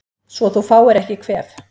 Svo þú fáir ekki kvef